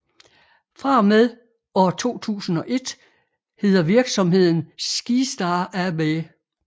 Fra og med år 2001 heder virksomheden Skistar AB